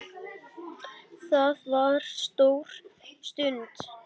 Það var stór stund.